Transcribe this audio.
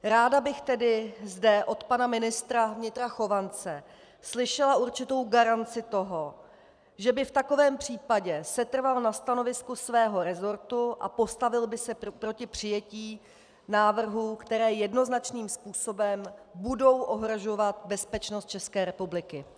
Ráda bych tedy zde od pana ministra vnitra Chovance slyšela určitou garanci toho, že by v takovém případě setrval na stanovisku svého resortu a postavil by se proti přijetí návrhů, které jednoznačným způsobem budou ohrožovat bezpečnost České republiky.